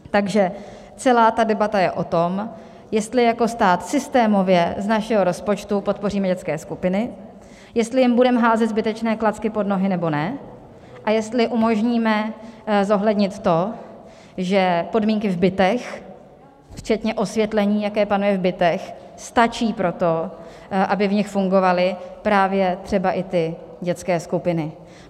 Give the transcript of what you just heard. Takže celá debata je o tom, jestli jako stát systémově z našeho rozpočtu podpoříme dětské skupiny, jestli jim budeme házet zbytečné klacky pod nohy, nebo ne a jestli umožníme zohlednit to, že podmínky v bytech včetně osvětlení, jaké panuje v bytech, stačí pro to, aby v nich fungovaly právě třeba i ty dětské skupiny.